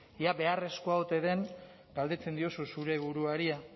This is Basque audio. ea beharrezkoa ote den galdetzen diozu zure buruari